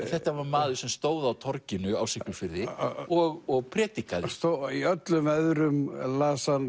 þetta var maður sem stóð á torginu á Siglufirði og og predikaði í öllum veðrum las hann